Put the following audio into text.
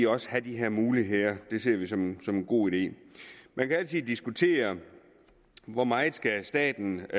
også have de her muligheder det ser vi som en god idé man kan altid diskutere hvor meget staten